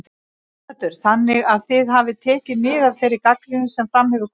Sighvatur: Þannig að þið hafið tekið mið af þeirri gagnrýni sem fram hefur komið?